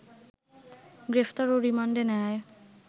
গ্রেফতার ও রিমান্ডে নেয়ায়